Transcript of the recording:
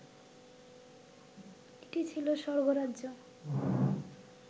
এটি ছিল স্বর্গরাজ্য